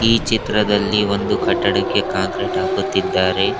ಈ ಚಿತ್ರದಲ್ಲಿ ಒಂದು ಕಟ್ಟಡಕ್ಕೆ ಕಾಂಕ್ರೀಟ್ ಹಾಕುತ್ತಿದ್ದಾರೆ.